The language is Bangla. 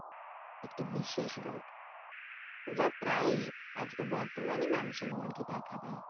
একটি বিশেষ রোগ যা প্রায়ই আজকে বর্তমানে মানুষের মধ্যে দেখা দেয়